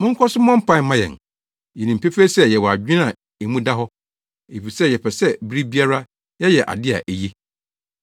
Monkɔ so mmɔ mpae mma yɛn. Yenim pefee sɛ yɛwɔ adwene a emu da hɔ, efisɛ yɛpɛ sɛ bere biara yɛyɛ ade a eye.